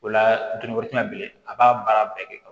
O la dun ko tɛna bilen a b'a baara bɛɛ kɛ